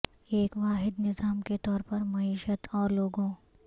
ایک واحد نظام کے طور پر معیشت اور لوگوں